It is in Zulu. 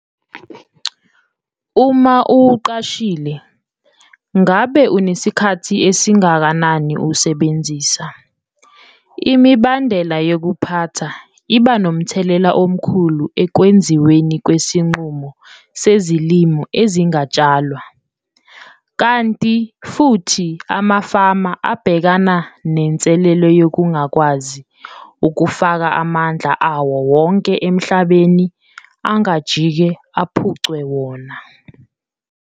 Uma uwuqashile, ngabe usunesikhathi esingakanani uwusebenzisa? Imibandela yokuphatha iba nomthelela omkhulu ekwenziweni kwesinqumo sezilimo ezingatshalwa, kanti futhi amafama abhekana nenselelo yokungakwazi ukufaka amandla awo wonke emhlabeni angajike aphucwe wona.